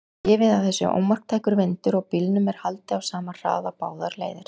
Gefið að það sé ómarktækur vindur og bílnum er haldið á sama hraða báðar leiðir.